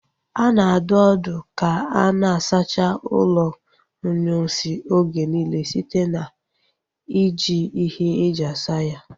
A na-adụ ọdụ ka a na-asacha ụlọ inyunsi oge niile site na ị ji ihe e ji asa ya